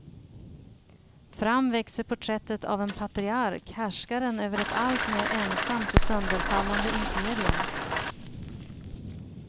Fram växer porträttet av en patriark, härskaren över ett alltmer ensamt och sönderfallande imperium.